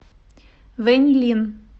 вэньлин